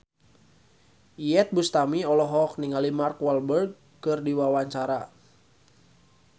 Iyeth Bustami olohok ningali Mark Walberg keur diwawancara